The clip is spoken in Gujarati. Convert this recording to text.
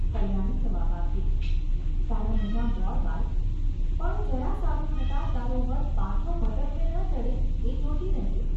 ’ કલ્યાણી જવાબ આપતી. ‘તારા મોંમાં ગોળ, બાઈ ! પણ જરા સારું થતાં તારો વર પાછો ભટકવે ન ચઢે એ જોતી રહેજે.